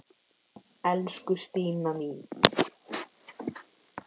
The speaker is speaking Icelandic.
Elsku Stína mín.